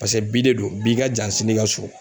Pasɛ bi de don bi i ka jan sini i ka su